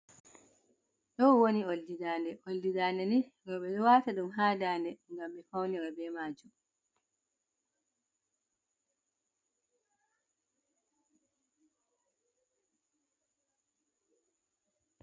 Ɗow woni oldi daande, oldi daande ni noɓe ɗo wata ɗum ha daande ngam ɓe fawnira bee maajum.